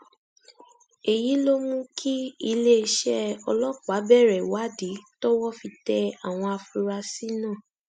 èyí ló mú kí iléeṣẹ ọlọpàá bẹrẹ ìwádìí tọwọ fi tẹ àwọn afurasí náà